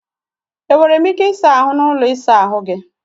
E nwere m ike ịsa ahụ n'ụlọ ịsa ahụ gị?